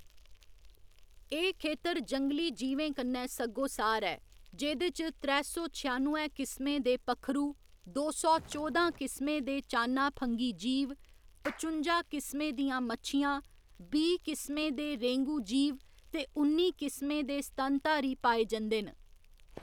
एह्‌‌ खेतर जंगली जीवें कन्नै सग्गोसार ऐ, जेह्‌‌‌दे च त्रै सौ छेआनुए किसमें दे पक्खरू, दो सौ चौदां किसमें दे चान्ना फंघी जीव, पचुंजा किसमें दियां मच्छियां, बीह्‌ किसमें दे रेंगू जीव ते उन्नी किसमें दे स्तनधारी पाए जंदे न।